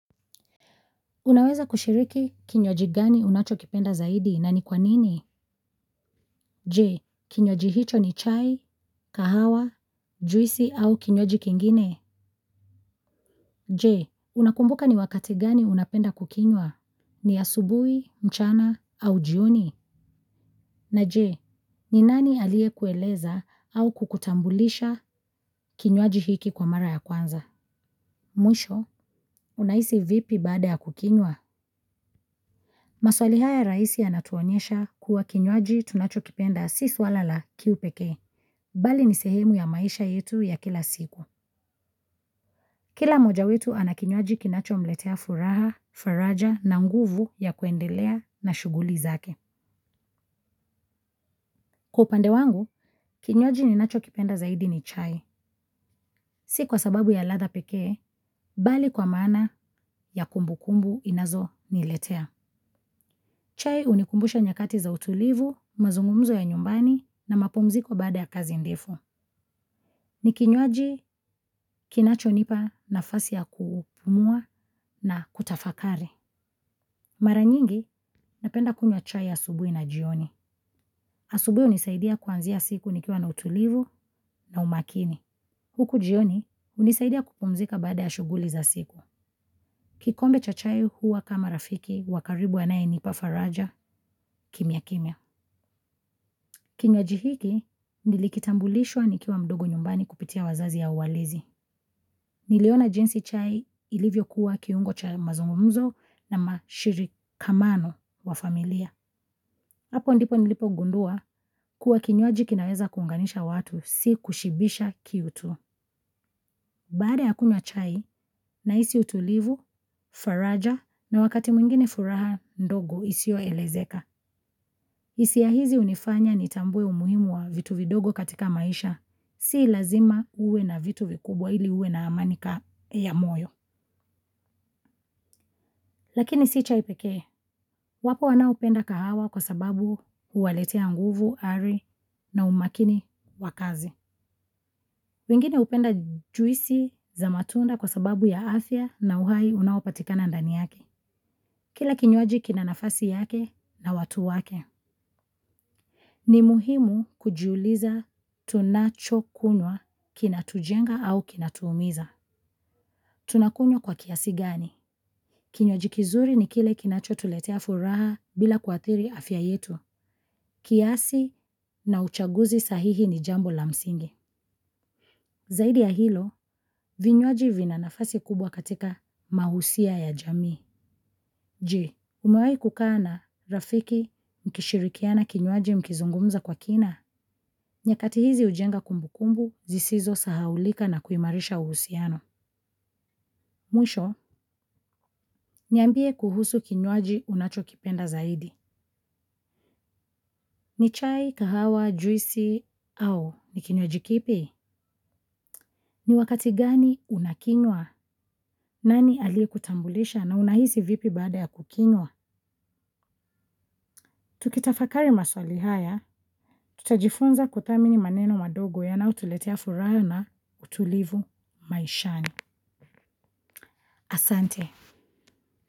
Unaweza kushiriki kinywaji gani unacho kipenda zaidi na ni kwanini? Je, kinywaji hicho ni chai kahawa juisi au kinywaji kingine? Je, unakumbuka ni wakati gani unapenda kukinywa? Ni asubui, mchana, au jioni? Na je, ni nani alie kueleza au kukutambulisha kinywaji hiki kwa mara ya kwanza? Mwisho, unaisi vipi baada ya kukinywa? Maswali haya rahisi yanatuonesha kuwa kinywaji tunacho kipenda si swala la kiu pekee bali ni sehemu ya maisha yetu ya kila siku. Kila mmoja wetu anakinywaji kinacho mletea furaha, faraja na nguvu ya kuendelea na shuguli zake. Kwa upande wangu, kinywaji ni nacho kipenda zaidi ni chai. Si kwa sababu ya ladha pekee bali kwa maana ya kumbukumbu inazo niletea. Chai unikumbusha nyakati za utulivu, mazungumzo ya nyumbani na mapumziko baada ya kazi ndefu. Ni kinywaji kinacho nipa na fasi ya kupumua na kutafakari. Maranyingi napenda kunywa chai asubui na jioni. Asubui unisaidia kuanzia siku nikiwa na utulivu na umakini. Huku jioni unisaidia kupumzika baada ya shuguli za siku. Kikombe cha chai huwa kama rafiki wakaribu anaye nipa faraja kimya kimya. Kinywaji hiki nilikitambulishwa nikiwa mdogo nyumbani kupitia wazazi au walezi. Niliona jinsi chai ilivyo kuwa kiungo cha mazungumuzo na mashiri kamano wa familia. Apo ndipo nilipo gundua kuwa kinywaji kinaweza kuunganisha watu, si kushibisha kiu tu. Baada ya kunywa chai, naisi utulivu, faraja na wakati mwingine furaha ndogo isio elezeka. Isia hizi unifanya ni tambwe umuhimu wa vitu vidogo katika maisha, si lazima uwe na vitu vikubwa ili uwe na amanika ya moyo. Lakini si chai pekee, wapo wanaopenda kahawa kwa sababu uwaletea nguvu, ari na umakini wakazi. Wengine upenda juisi za matunda kwa sababu ya afya na uhai unaopatikana ndani yake. Kila kinywaji kina nafasi yake na watu wake, ni muhimu kujiuliza tunacho kunywa kinatujenga au kinatuumiza. Tunakunywa kwa kiasi gani? Kinywaji kizuri ni kile kinacho tuletea furaha bila kuathiri afya yetu. Kiasi na uchaguzi sahihi ni jambo la msingi. Zaidi ya hilo, vinywaji vinanafasi kubwa katika mahusia ya jamii. Je, umewai kukaa na, rafiki, mkishirikiana kinywaji mkizungumza kwa kina, nyakati hizi ujenga kumbukumbu, zisizo sahaulika na kuimarisha uhusiano. Mwisho, niambie kuhusu kinywaji unacho kipenda zaidi. Ni chai kahawa juisi au ni kinywaji kipi? Ni wakati gani unakinywa, nani aliyeku tambulisha na unahisi vipi baada ya kukinywa? Tukitafakari maswali haya tutajifunza kuthamini maneno madogo yanao tuletea furaha na utulivu maishani asante.